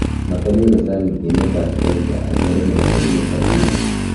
matamii kochang eng emet ap Asia ak murenik ap emet ap India.